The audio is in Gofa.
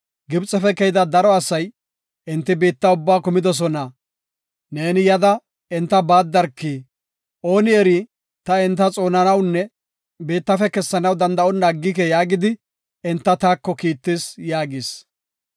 ‘Gibxefe keyida daro asay, enti biitta ubbaa kumidosona. Neeni yada, enta baaddarki. Ooni eri, ta enta xoonanawunne biittafe kessanaw danda7onna aggike’ yaagidi enta taako Kiittis” yaagis.